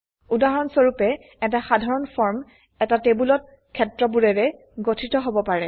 উদাহৰণ স্বৰুপে এটা সাধাৰণ ফৰ্ম এটা টেবোলত ক্ষেত্ৰবোৰেৰে গঠিত হব পাৰে